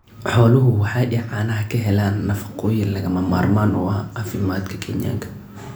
Xooluhu waxa ay caanaha ka helaan nafaqooyin lagama maarmaan u ah caafimaadka Kenyaanka.